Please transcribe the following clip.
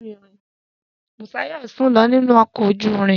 Busayo sùn lọ nínú ọkọ̀ ojú irin.